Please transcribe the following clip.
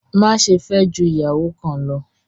Má ṣe fẹ jù ìyàwó kan ló!